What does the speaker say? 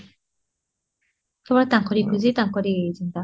କେବଳ ତାଙ୍କରି ଖୁସି ତାଙ୍କରି ଚିନ୍ତା